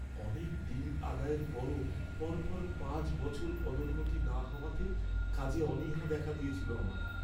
অনেক ডিল আদায়ের পরও পরপর পাঁচ বছর পদোন্নতি না হওয়াতে কাজে অনীহা দেখা দিয়েছিল আমার।